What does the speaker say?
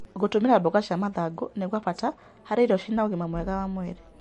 Gũtũmĩra mboga cia mathangũ nĩ kwa bata harĩ irio cina ũgima mwega wa mwĩrĩ.